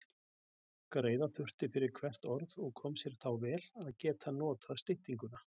Greiða þurfti fyrir hvert orð og kom sér þá vel að geta notað styttinguna.